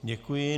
Děkuji.